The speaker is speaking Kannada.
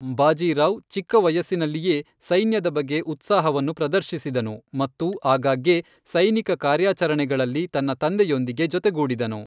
ಬಾಜಿ ರಾವ್ ಚಿಕ್ಕ ವಯಸ್ಸಿನಲ್ಲಿಯೇ ಸೈನ್ಯದ ಬಗ್ಗೆ ಉತ್ಸಾಹವನ್ನು ಪ್ರದರ್ಶಿಸಿದನು ಮತ್ತು ಆಗಾಗ್ಗೆ ಸೈನಿಕ ಕಾರ್ಯಾಚರಣೆಗಳಲ್ಲಿ ತನ್ನ ತಂದೆಯೊಂದಿಗೆ ಜೊತೆಗೂಡಿದನು.